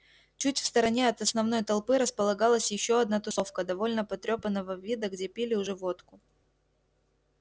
чуть в стороне от основной толпы располагалась ещё одна тусовка довольно потрёпанного вида где пили уже водку